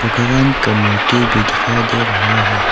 भगवान का मूर्ति भी दिखाई दे रहा है।